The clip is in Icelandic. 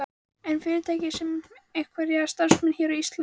En er fyrirtækið með einhverja starfsemi hér á Íslandi?